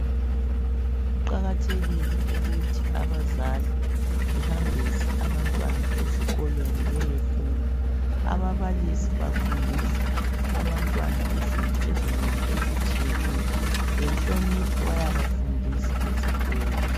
Kuqakathekile ukuthi abazali behambise abantwana ezikolweni beyofunda. Ababalisi bafundisa abantwana izinto ezinengi ezitshiyeneyo. Lenhlonipho bayabafundisa esikolo.